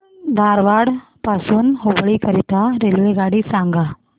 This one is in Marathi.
धारवाड पासून हुबळी करीता रेल्वेगाडी सांगा